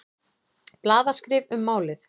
Blaðaskrif um málið.